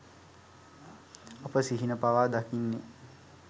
අප සිහින පවා දකින්නේ